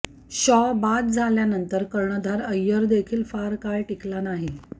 शॉ बाद झाल्यानंतर कर्णधार अय्यरदेखील फार काळ टिकला नाही